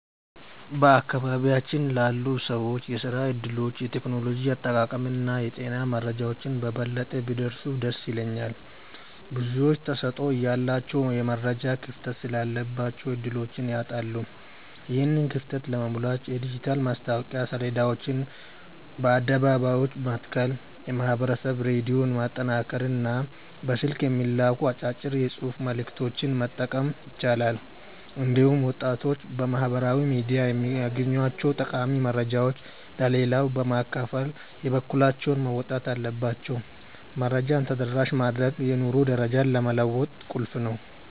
በአካባቢያችን ላሉ ሰዎች የሥራ ዕድሎች፣ የቴክኖሎጂ አጠቃቀምና የጤና መረጃዎች በበለጠ ቢደርሱ ደስ ይለኛል። ብዙዎች ተሰጥኦ እያላቸው የመረጃ ክፍተት ስላለባቸው ዕድሎችን ያጣሉ። ይህንን ክፍተት ለመሙላት የዲጂታል ማስታወቂያ ሰሌዳዎችን በአደባባዮች መትከል፣ የማኅበረሰብ ሬዲዮን ማጠናከርና በስልክ የሚላኩ አጫጭር የጽሑፍ መልዕክቶችን መጠቀም ይቻላል። እንዲሁም ወጣቶች በማኅበራዊ ሚዲያ የሚያገኟቸውን ጠቃሚ መረጃዎች ለሌላው በማካፈል የበኩላቸውን መወጣት አለባቸው። መረጃን ተደራሽ ማድረግ የኑሮ ደረጃን ለመለወጥ ቁልፍ ነው።